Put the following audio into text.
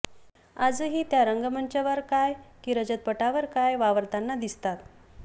आजही त्या रंगमंचावर काय की रजतपटावर काय वावरताना दिसतात